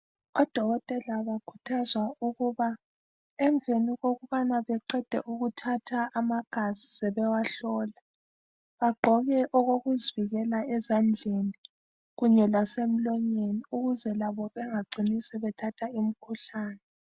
Odokotela bakhuthazwa ukuba emveni okubana beqede ukuthatha amagazi sebewahlola, bagqoke okokuzivikela ezandleni kunye lasemlonyeni ukuze labo bangacini sebethatha imkhuhlane.